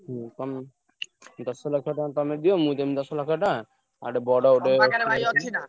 ହୁଁ ତମେ ଦଶ ଲକ୍ଷ ଟଙ୍କା ତମେ ଦିଅ ମୁଁ ଦେବି ଦଶ ଲକ୍ଷ ଟଙ୍କା। ଆଉ ଗୋଟେ ବଡ ଗୋଟେ।